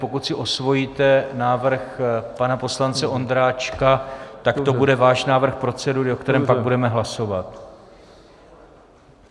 Pokud si osvojíte návrh pana poslance Ondráčka, tak to bude váš návrh procedury, o kterém pak budeme hlasovat.